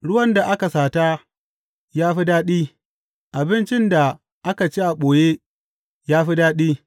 Ruwan da aka sata ya fi daɗi; abincin da aka ci a ɓoye ya fi daɗi!